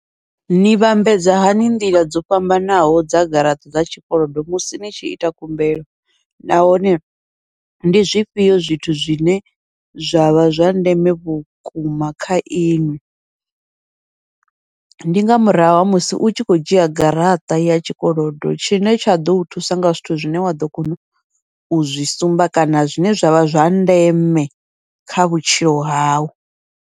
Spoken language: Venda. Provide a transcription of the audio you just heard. Ni vhambedza hani nḓila dzo fhambanaho dza garaṱa dza tshikolodo musi ni tshi ita khumbelo nahone ndi zwifhio zwithu zwine zwavha zwa ndeme vhukuma kha iṅwi, ndi nga murahu ha musi u tshi khou dzhia garaṱa ya tshikolodo, tshine tsha ḓou thusa nga zwithu zwine wa ḓo kona u zwi sumba kana zwine zwavha zwa ndeme kha vhutshilo hau.